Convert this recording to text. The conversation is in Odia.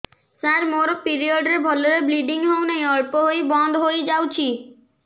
ସାର ମୋର ପିରିଅଡ଼ ରେ ଭଲରେ ବ୍ଲିଡ଼ିଙ୍ଗ ହଉନାହିଁ ଅଳ୍ପ ହୋଇ ବନ୍ଦ ହୋଇଯାଉଛି